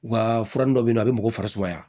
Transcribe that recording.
U ka fura dɔ be yen nɔ a bɛ mɔgɔ farisumaya